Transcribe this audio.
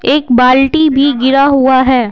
एक बाल्टी भी गिरा हुआ है।